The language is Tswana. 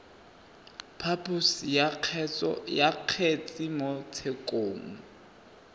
phaposo ya kgetse mo tshekong